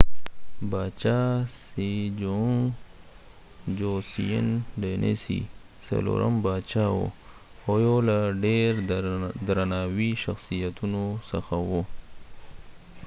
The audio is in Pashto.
باچا sejong د joseon dynasy څلورم باچا وو او یوله ډیر درناوي شخصیتونو څخه وو